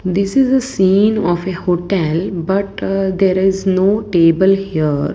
this is a scene of a hotel but uh there is no table here.